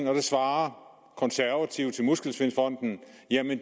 det svarer konservative til muskelsvindfonden at